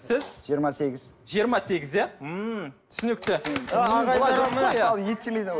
сіз жиырма сегіз жиырма сегіз иә ммм түсінікті